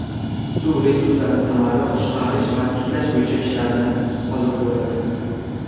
suv resurslarini samarali boshqarish va tiklash bo‘yicha ishlarni olib boradi.